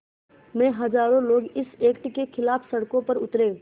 में हज़ारों लोग इस एक्ट के ख़िलाफ़ सड़कों पर उतरे